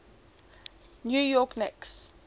new york knicks